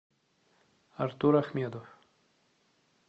артур ахмедов